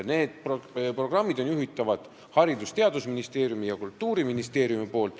Neid programme juhivad Haridus- ja Teadusministeerium ning Kultuuriministeerium.